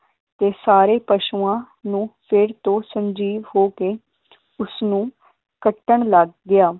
ਤੇ ਸਾਰੇ ਪਸ਼ੂਆਂ ਨੂੰ ਫੇਰ ਤੋਂ ਸੰਜੀਵ ਹੋ ਕੇ ਉਸਨੂੰ ਕੱਟਣ ਲੱਗ ਗਿਆ।